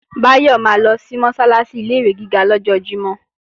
Báyọ̀ máa lọ sí Mọ́sálásí ilé-ìwé gíga lọ́jọ́ Jímọ̀